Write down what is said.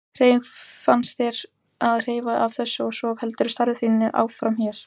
Hvernig fannst þér að heyra af þessu og svo heldurðu starfi þínu áfram hér?